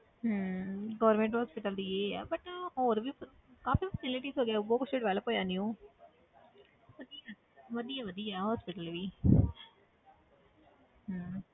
ਹਮ government hospital ਦੀ ਇਹ ਹੈ but ਨਾ ਹੋਰ ਵੀ ਫੈ~ ਕਾਫ਼ੀ facilities ਹੋ ਗਈਆਂ ਬਹੁਤ ਕੁਛ develop ਹੋਇਆ new ਵਧੀਆ ਵਧੀਆ ਵਧੀਆ hospital ਵੀ ਹਮ